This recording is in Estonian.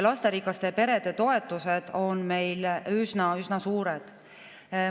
Lasterikaste perede toetused on meil üsna-üsna suured.